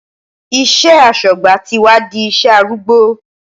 Iṣẹ́ aṣọ́gbà ti wá di iṣẹ́ arúgbó.